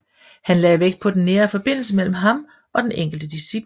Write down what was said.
Han lagde vægt på den nære forbindelse mellem ham og den enkelte discipel